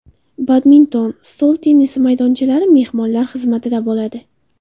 Badminton, stol tennisi maydonchalari mehmonlar xizmatida bo‘ladi.